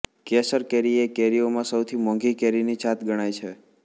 કેસર કેરી એ કેરીઓમાં સૌથી મોંઘી કેરીની જાત ગણાય છે